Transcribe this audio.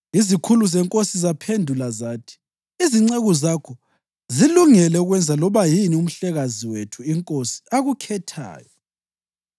Izikhulu zenkosi zaphendula zathi, “Izinceku zakho zilungele ukwenza loba yini umhlekazi wethu inkosi akukhethayo.”